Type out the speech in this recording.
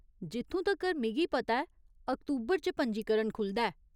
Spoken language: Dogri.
जित्थूं तक्कर मिगी पता ऐ अक्तूबर च पंजीकरण खु'लदा ऐ।